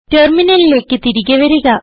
ടെർമിനലിലേക്ക് തിരികെ വരിക